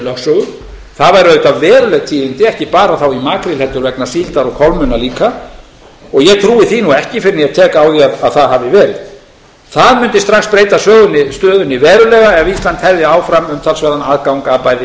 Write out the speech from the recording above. lögsögu það væru auðvitað veruleg tíðindi ekki bara þá í makríl heldur vegna síldar og kolmunna líka og ég trúi því nú ekki fyrr en ég tek á því að það hafi verið það mundi strax breyta stöðunni verulega ef ísland hefði áfram umtalsverðan aðgang að bæði